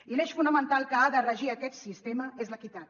i l’eix fonamental que ha de regir aquest sistema és l’equitat